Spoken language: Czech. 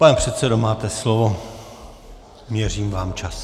Pane předsedo, máte slovo, měřím vám čas.